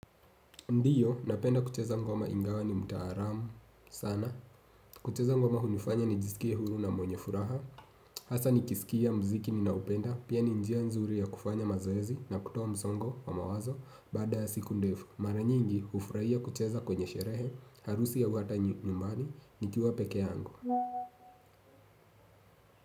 Ndiyo, napenda kucheza ngoma ingawa ni mtaalamu. Sana. Kucheza ngoma hunifanya nijisikie huru na mwenye furaha. Hasa nikisikia mziki ninaoupenda. Pia ni njia nzuri ya kufanya mazoezi na kutoa msongo wa mawazo. Baada ya siku ndefu. Mara nyingi, hufurahia kucheza kwenye sherehe. Harusi au hata nyumbani. Nikiwa pekee yangu.